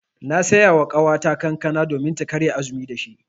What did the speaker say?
Na saya wa ƙawata kankana domin ta karya azumi da shi.